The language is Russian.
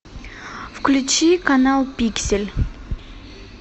включи канал пиксель